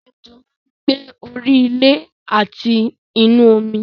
Ejò máa ń gbé orí ilé àti inú omi